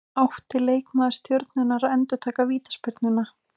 Átti leikmaður Stjörnunnar að endurtaka vítaspyrnuna?